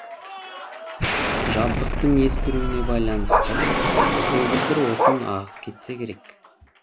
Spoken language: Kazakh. жабдықтың ескіруіне байланысты көгілдір отын ағып кетсе керек